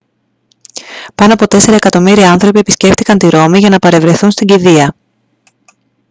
πάνω από τέσσερα εκατομμύρια άνθρωποι επισκέφτηκαν τη ρώμη για να παρευρεθούν στην κηδεία